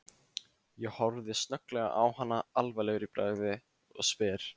Ég horfi snögglega á hana alvarlegur í bragði og spyr